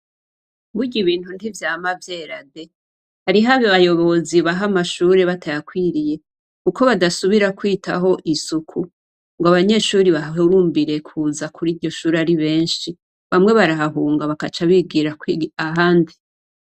Burya ibintu ntivyama vyera de! Hariho abayobozi baha amashure batayakwiriye kuko badasubira kwitaho isuku ngo abanyeshure bahahurumbire kuza kuriryo shure ari benshi bamwe barahahunga bakaca bigira kwiga ahandi.